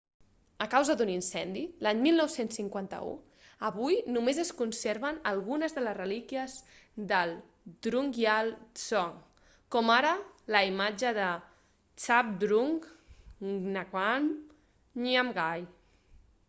a causa d'un incendi l'any 1951 avui només es conserven algunes de les relíquies de drukgyal dzong com ara la imatge de zhabdrung ngawang namgyal